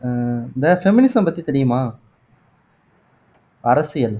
அஹ் இந்த feminism பத்தி தெரியுமா அரசியல்